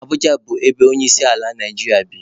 Abụja bụ ebe onyeisiala Naijiria bi.